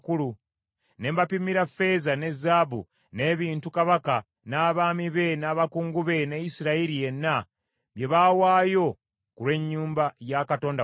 ne mbapimira ffeeza ne zaabu n’ebintu kabaka, n’abaami be, n’abakungu be, ne Isirayiri yenna, bye baawaayo ku lw’ennyumba ya Katonda waffe.